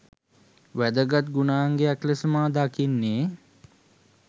වැදගත් ගුණාංගයක් ලෙස මා දකින්නේ